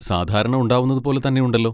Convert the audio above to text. സാധാരണ ഉണ്ടാവുന്നതുപോലെ തന്നെയുണ്ടല്ലോ.